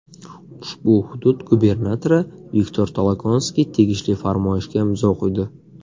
Ushbu hudud gubernatori Viktor Tolokonskiy tegishli farmoyishga imzo qo‘ydi.